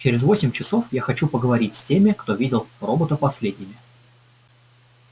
через восемь часов я хочу поговорить с теми кто видел робота последними